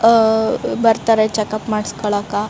ಅ ಬರ್ತಾರೆ ಚೆಕಪ್ಪ್ ಮಾಡ್ಸ್ಕೊಳ್ಳಾಕ.